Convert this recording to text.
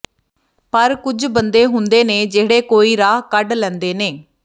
ਪਰ ਕੁਝ ਬੰਦੇ ਹੁੰਦੇ ਨੇ ਜਿਹੜੇ ਕੋਈ ਰਾਹ ਕੱਢ ਲੈਂਦੇ ਨੇ